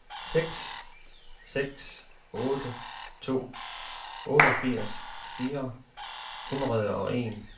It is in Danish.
seks seks otte to otteogfirs fire hundrede og en